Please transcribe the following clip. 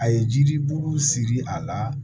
A ye jiribulu siri a la